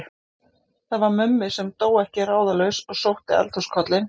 Það var Mummi sem dó ekki ráðalaus og sótti eldhúskollinn.